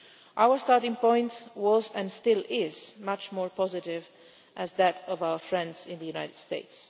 Our starting point was and still is much more positive than that of our friends in the United States.